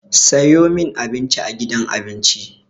Sayo min Abinci a gidan abinci!